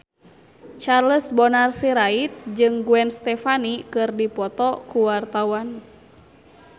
Charles Bonar Sirait jeung Gwen Stefani keur dipoto ku wartawan